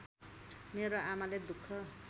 मेरो आमाले दुख